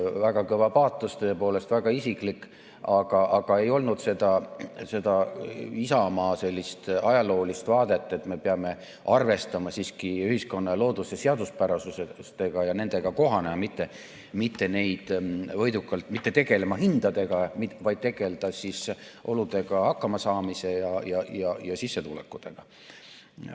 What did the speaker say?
Väga kõva paatos, tõepoolest, väga isiklik, aga ei olnud Isamaa sellist ajaloolist vaadet, et me peame arvestama siiski ühiskonna ja looduse seaduspärasustega ja nendega kohanema, mitte ei pea tegelema hindadega, vaid oludega hakkamasaamise ja sissetulekutega.